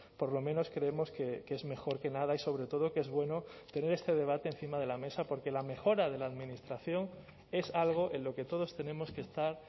por lo menos creemos que es mejor que nada y sobre todo que es bueno tener este debate encima de la mesa porque la mejora de la administración es algo en lo que todos tenemos que estar